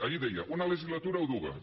ahir deia una legislatura o dues